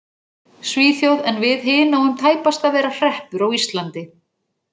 Svíþjóð en við hin náum tæpast að vera hreppur á Íslandi.